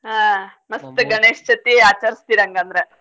ಹಾ ಗಣೇಶ್ಚೌತಿ ಆಚಾರ್ಸ್ತೀರ್ ಹಂಗಂದ್ರ.